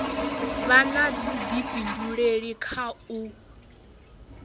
vha na vhudifhinduleli kha u